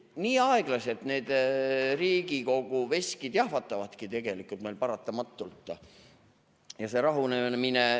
Nii aeglaselt need Riigikogu veskid meil tegelikult paratamatult jahvatavad.